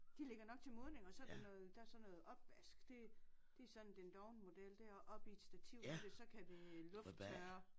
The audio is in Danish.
De ligger nok til modning og så der noget der er sådan noget opvask det det sådan den dovne model der oppe i et stativ så kan det lufttørre